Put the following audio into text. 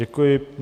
Děkuji.